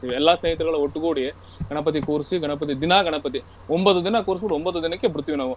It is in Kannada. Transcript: ಎಲ್ಲಾ ಸ್ನೇಹಿತರುಗಳು ಒಟ್ಟುಗೂಡಿ ಗಣಪತಿ ಕೂರ್ಸಿ ಗಣಪತಿ ದಿನಾ ಗಣಪತಿ ಒಂಭತ್ತು ದಿನಾ ಕೂರ್ಸಬುಟ್ಟು ಒಂಭತ್ತು ದಿನಕ್ಕೆ ಬಿಡ್ತೀವಿ ನಾವು.